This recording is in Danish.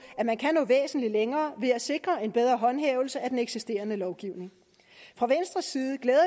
at man kan nå væsentlig længere ved at sikre en bedre håndhævelse af den eksisterende lovgivning fra venstres side glæder